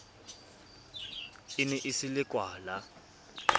e ne e se lekwala